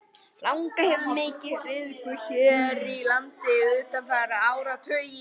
Langa hefur verið mikið nytjuð hér á landi undanfarna áratugi.